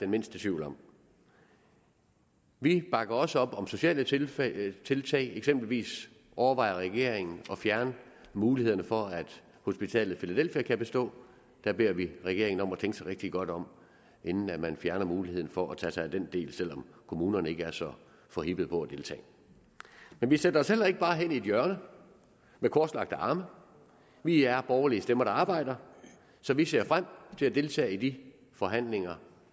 mindste tvivl om vi bakker også op om sociale tiltag tiltag eksempelvis overvejer regeringen at fjerne mulighederne for at hospitalet filadelfia kan bestå og der beder vi regeringen om at tænke sig rigtig godt om inden man fjerner muligheden for at tage sig af den del selv om kommunerne ikke er så forhippede på at deltage men vi sætter os heller ikke bare hen i et hjørne med korslagte arme vi er borgerlige stemmer der arbejder så vi ser frem til at deltage i de forhandlinger